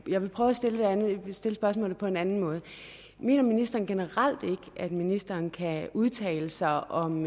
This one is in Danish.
jeg vil stille spørgsmålet på en anden måde mener ministeren generelt ikke at ministeren kan udtale sig om